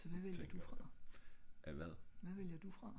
så hvad vælger du fra?